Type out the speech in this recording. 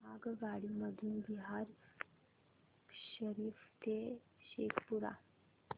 आगगाडी मधून बिहार शरीफ ते शेखपुरा